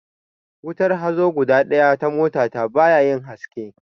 Wutar hazo guda ɗaya na mota ta ba yayin haske